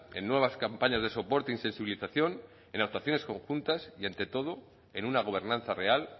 en nuevas campañas de soporte y sensibilización en adaptaciones conjuntas y ante todo en una gobernanza real